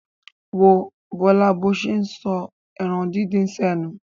Wo Bọ́lá bó ṣe ń sọ ẹran díndín sẹ́nu.